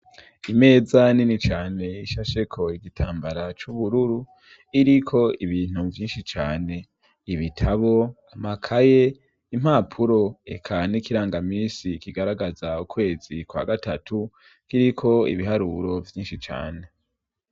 Imeza nini cane ishasheko igitambara c'ubururu iriko ibintu vyinshi cane, ibitabo amakaye impapuro eka n'ikirangamisi kigaragaza ukwezi kwa gatatu k'iriko ibiharuro vyinshi cane.